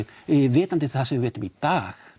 vitandi það sem við vitum í dag